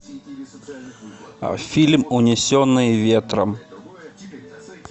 фильм унесенные ветром